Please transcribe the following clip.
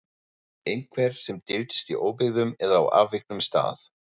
Einhver sem dyldist í óbyggðum eða á afviknum stað.